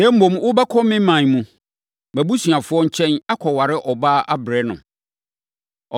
Na mmom, wobɛkɔ me ɔman mu, mʼabusuafoɔ nkyɛn, akɔware ɔbaa abrɛ no.”